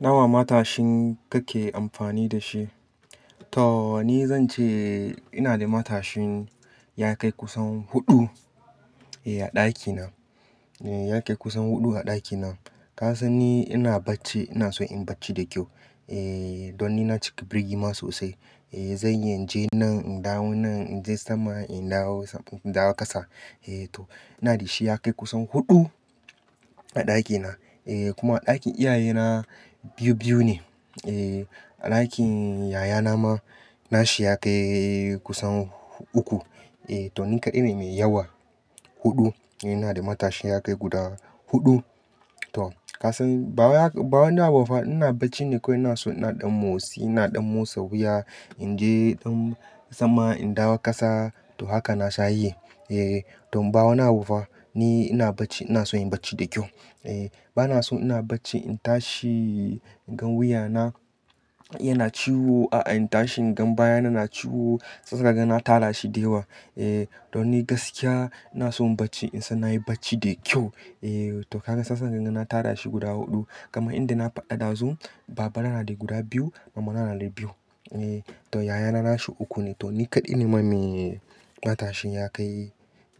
Nawa matashin kake amfani da shi? To, ni zance ina da matashin ya kai kusan huɗu, eh, a ɗakina. Eh, ya kai kusan huɗu a ɗakina. Ka san ni ina bacci, inason inyi bacci da kyau. Eh, don ni na cika birgima sosai. Eh, zan iya inje nan, in dawo nan, inje sama, in dawo, in dawo ƙasa. Eh to, inada shi ya kai kusan huɗu a ɗakina. Eh kuma a ɗakin iyayena biyu biyu ne. Eh, a ɗakin yayana ma, nashi ya kai kusan uku. Eh to, ni kaɗai ne mai yawa. Huɗu, eh inada matashin ya kai guda huɗu. To, ka san bawa, bawa na ba fa ina bacci ne kawai inaso ina ɗan motsi, ina ɗan motsa wuya. Inje ɗan sama, in dawo ƙasa to haka nasha yi. Eh, to bawani abu fa ni ina bacci inason in bacci da kyau. Eh, banason ina bacci in tashi ingan wuyana yana ciwo, a, a, in tashi ingan baya na ciwo. Shiyasa kaga na tara shi da yawa. Eh, don ni gaskiya ina son bacci insan nayi bacci da kyau. Eh to ka ganin shiyasa ganin na tara shi guda huɗu. Kaman yanda na faɗa ɗazu, babana nada guda biyu, mamana nada biyu. Eh to, yayana, nashi uku ne. To ni kaɗai ne ma mai matashin ya kai,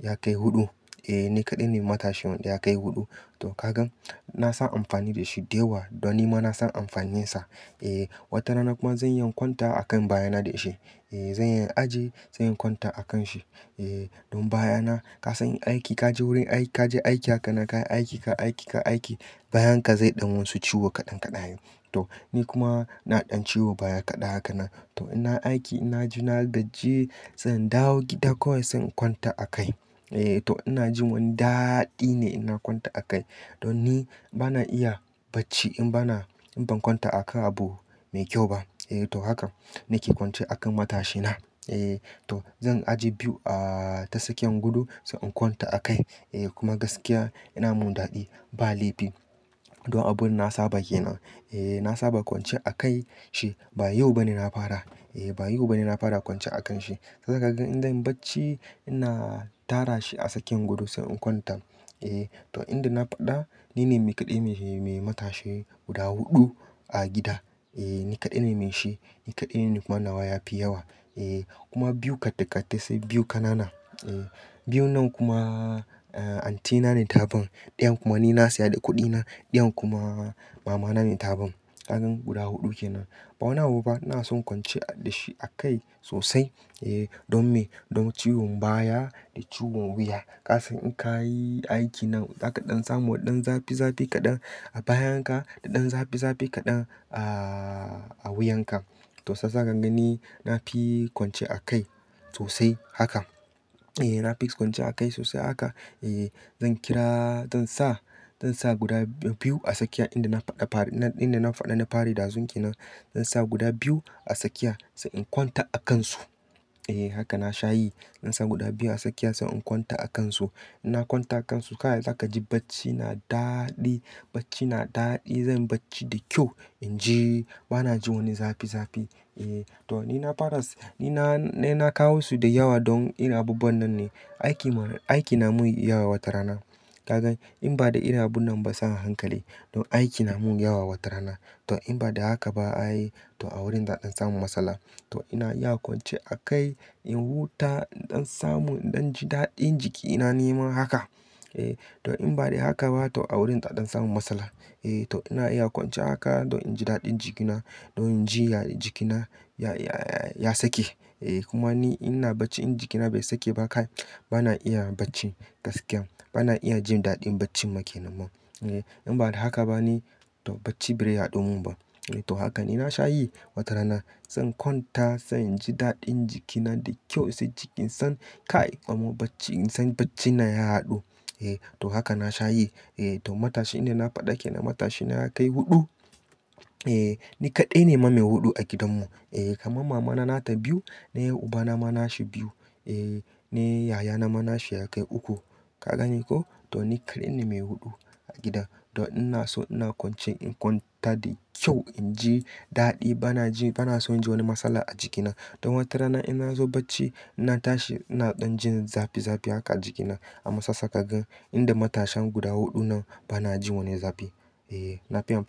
ya kai huɗu. Eh ni kaɗai ne matashin wanda ya kai huɗu. To ka gan, na san amfani dashi dayawa. Don nima na san amfaninsa. Eh, watarana kuma zan iya in kwanta a kan baya na da shi. Eh zan iya in ajiye, zan iya in kwanta a kan shi. Eh, don baya na ka san aiki kaje wurin aiki kaje aiki haka na ka yi aiki ka aiki ka aiki bayan ka zai ɗan wasu ciwo kaɗan kaɗaye. To, ni kuma na ɗan ciwo baya kaɗan haka na. To ina aiki inaji na gaji zan dawo gida kawai zan kwanta a kai. Eh to ina jin wani daɗi ne ina kwanta a kai. Don ni bana iya bacci in ba na, in ban kwanta a kan abu mai kyau ba. Eh to haka nake kwance a kan matashina. Eh to, zan ajiye biyu a, ta tsakiyan gudu sai in kwanta a kai. Eh kuma gaskiya ina min daɗi, ba laifi. Don abun na saba ke nan. Eh na saba kwance a kai shi. Ba yau bane na fara. Eh ba yau bane na fara kwance a kan shi. Sai kaga in zan bacci ina tara shi a tsakiyan gado sai in kwanta. Eh to inda na faɗa ni ne mai kaɗai mai, mai matashi guda huɗu a gida. Eh ni kaɗai ne mai shi. Ni kaɗai ne kuma nawa ya fi yawa. Eh kuma biyu kattikattisai biyu kanana. Eh biyu nan kuma, eh aunty na ne ta ban Ɗayan kuma ni na saya da kuɗina. Ɗayan kuma mama na ne ta bi. Kaga guda huɗu ke nan. Ba wani abu ba ina son kwanciya dashi a kai sosai. Eh don me? Don ciwon baya da ciwon wuya. Ka san in kayi aiki nan za ka ɗan samu ɗan zafi zafi kaɗan a bayan ka da ɗan zafi zafi kaɗan a, a wuyan ka. To shiyasa kagani nafi kwance a kai sosai haka. Eh nafi kwance a kai sosai haka. Eh zan kira, zansa, zansa guda biyu a tsakiya inda na faɗa fari, na, inda na faɗa na fari dazun ke nan. Zan sa guda biyu a tsakiya sai in kwanta a kansu. Eh haka na sha yi. Zan sa guda biyu a tsakiya sai in kwanta a kansu. Ina kwanta a kansu kai zakaji bacci na daɗi. Bacci na daɗi. Zan bacci da kyau. Inji banaji wani zafi zafi. Eh to ni na fara, ni na, na, na kawo su da yawa don ina abubuwan nan ne. Aiki ma, aiki namun yawa watarana. Ka gan in bada irin abun nan ba sai hankali. Don aiki na mun yawa watarana. To in ba da haka ba ayi to a wurin za a ɗan samu matsala. To ina iya kwance a kai in huta ɗan samu ɗanji daɗin jikina ni ma haka. Eh to in ba da haka ba to a wurin za a ɗan samu matsala. Eh to ina iya kwance haka don in ji daɗin jikina. Don in ji ya, jikina ya, ya, ya sake. Eh kuma ni ina bacci in jikina bai sake ba kai ba na iya bacci gaskiya. Ba na iya jindaɗin bacci ma kenan ma. Eh in bada haka ba ni to bacci bai zai haɗumun ba. Eh to haka ni na sha yi watarana. Zan kwanta sai inji daɗin jikina da kyau sai jikin san ka aiki amma bacci in san bacci na ya haɗu. Eh to haka na sha yi. Eh to matashinda na faɗa kenan matashina ya kai huɗu. Eh ni kaɗai ne ma mai huɗu a gidan mu. Eh kama mamana na ta biyu. Daya ubana ma nashi biyu. Eh, ne yayana ma nashi ya kai uku. Ka ganiko? To ni kaɗai ne mai huɗu a gidan. Don ina so ina kwance in kwanta da kyau inji daɗi. Bana ji, bana so inji wani matsala a jikina. Don watarana ina zo bacci ina tashi ina ɗan jin zafi zafi haka a jikina. Amma shiyasa kagan inda matashan guda huɗu nan bana jin wani zafi. Eh nafi amfani.